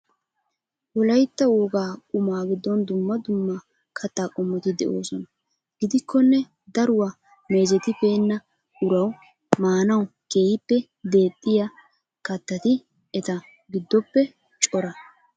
Wolaytta woga qumaa giddon dumma dumma katta qommoti de'oosona gidikkonne daruwaa meezetibeena uraaw maanawu keehippe deexxiyaa kattati eta giddoppe cora.